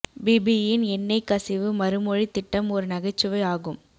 BP யின் எண்ணெய் கசிவு மறுமொழி திட்டம் ஒரு நகைச்சுவை ஆகும்